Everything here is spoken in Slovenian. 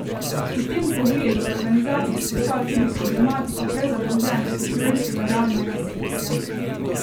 V tem pogledu v organizaciji izpostavljajo tudi problematiko prezadolženosti slovenskega realnega sektorja.